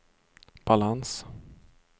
balans